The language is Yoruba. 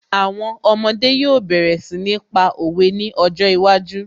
Àwọn ọmọdé yóò bẹ̀rẹ̀ sí ní pa òwe ní ọjọ́ iwájú